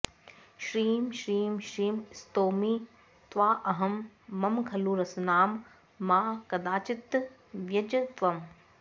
श्रीं श्रीं श्रीं स्तौमि त्वाऽहं मम खलु रसनां मा कदाचित् त्यज त्वं